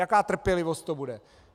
Jaká trpělivost to bude?